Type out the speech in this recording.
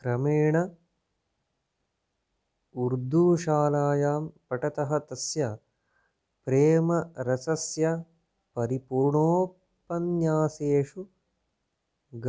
क्रमेण उर्दूशालायां पठतः तस्य प्रेमरसस्य परिपूर्णोपन्यासेषु